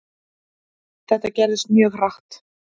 Þetta gerðist mjög hratt.